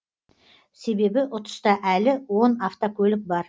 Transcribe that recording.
себебі ұтыста әлі он автокөлік бар